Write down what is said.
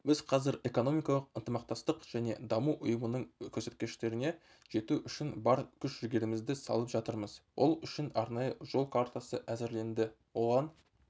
біз қазір экономикалық ынтымақтастық және даму ұйымының көрсеткіштеріне жету үшін бар күш-жігерімізді салып жатырмыз ол үшін арнайы жол картасы әзірленді оған